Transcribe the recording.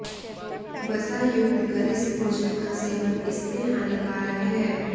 वसा युक्त गरिष्ठ भोजन का सेवन इसमें हानिकारक है